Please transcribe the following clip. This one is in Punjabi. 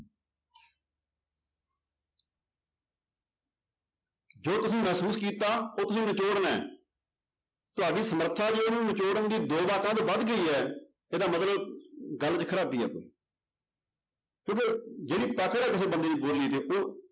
ਜੋ ਤੁਸੀਂ ਮਹਿਸੂਸ ਕੀਤਾ ਉਹ ਤੁਸੀਂ ਨਿਚੋੜਨਾ ਹੈ ਤੁਹਾਡੀ ਸਮਰਥਾ ਜੋ ਉਹਨੂੰ ਨਿਚੋੜਨ ਦੀ ਦੋ ਵਾਕਾਂ ਤੋਂ ਵੱਧ ਕੇ ਹੀ ਹੈ ਇਹਦਾ ਮਤਲਬ ਗੱਲ ਚ ਖ਼ਰਾਬੀ ਹੈ ਕੋਈ ਕਿਉਂਕਿ ਜਿਹੜੀ ਹੈ ਕਿਸੇ ਬੰਦੇ ਦੀ ਬੋਲੀ ਤੇ ਉਹ